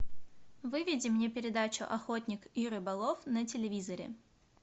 выведи мне передачу охотник и рыболов на телевизоре